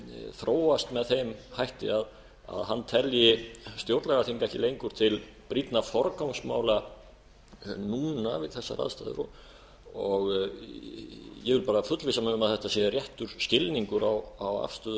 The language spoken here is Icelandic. þróast með þeim hætti að hann telji stjórnlagaþing ekki lengur til brýnna forgangsmála núna við þessar aðstæður ég vil bara fullvissa mig um að þetta sé réttur skilningur á afstöðu